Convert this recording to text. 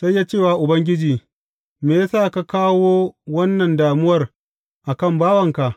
Sai ya ce wa Ubangiji, Me ya sa ka kawo wannan damuwar a kan bawanka?